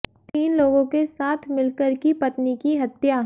तीन लोगों के साथ मिलकर की पत्नी की हत्या